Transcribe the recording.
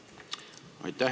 Aitäh!